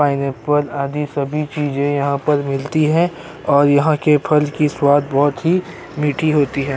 Pineapple आदि सभी चीजें यहाँ पर मिलती हैं और यहाँ के फल की स्वाद बहोत ही मीठी होती है।